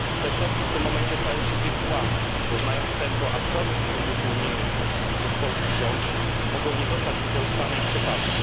Środki te w tym momencie stają się wirtualne, bo znając tempo absorpcji funduszy unijnych przez polski rząd mogą nie zostać wykorzystane i przepadną.